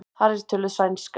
Þar er töluð sænska.